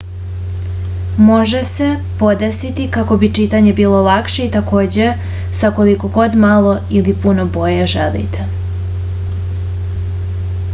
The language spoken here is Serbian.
može se podesiti kako bi čitanje bilo lakše i takođe sa koliko god malo ili puno boje želite